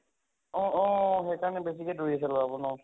অহ অহ, সেই কাৰণে বেছিকে দৌৰিছে লʼৰাবোৰ ন?